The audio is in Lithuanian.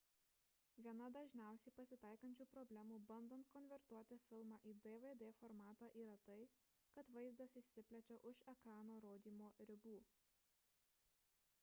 viena dažniausiai pasitaikančių problemų bandant konvertuoti filmą į dvd formatą yra tai kad vaizdas išsiplečia už ekrano rodymo ribų